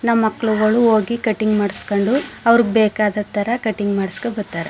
ನಮ್ಮ ಮಕ್ಕಳುಗಳು ಹೋಗಿ ಕಟಿಂಗ್ ಮಾಡ್ಸಕೊಂಡು ಅವ್ರಿಗೆ ಬೇಕಾದದತರ ಕಟಿಂಗ್ ಮಾಡ್ಸಕೊಂಡ ಬರತ್ತರೆ.